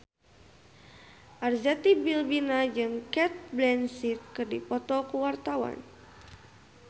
Arzetti Bilbina jeung Cate Blanchett keur dipoto ku wartawan